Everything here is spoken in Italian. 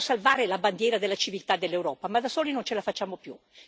Vogliamo salvare la bandiera della civiltà dell'Europa, ma da soli non ce la facciamo più.